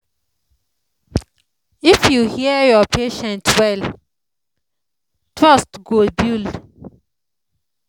if you hear your patient well trust go build.